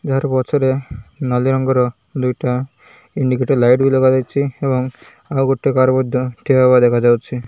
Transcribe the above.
ପଛରେ ନାଲି ରଙ୍ଗର ଦୁଇଟା ଇଣ୍ଡିକେଟର୍ ଲାଇଟ୍ ବି ଲଗାଯାଇଚି ଏବଂ ଆଉଗୋଟେ କାର୍ ମଧ୍ୟ ଠିଆହେବାର ଦେଖାଯାଉଚି।